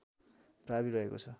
प्रावि रहेको छ